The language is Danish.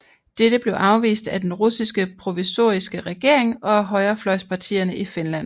Dette blev afvist af den russiske provisoriske regering og af højrefløjspartierne i Finland